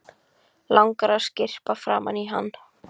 Langar að skyrpa framan í hann.